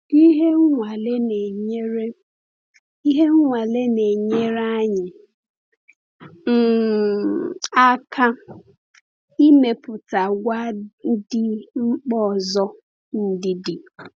Ihe nwale na-enyere Ihe nwale na-enyere anyị um aka ịmepụta àgwà dị mkpa ọzọ-ndidi.